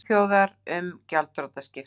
Svíþjóðar, um gjaldþrotaskipti.